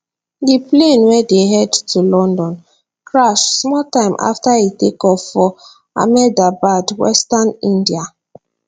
di plane wey dey head to london crash small time afta e takeoff for ahmedabad western india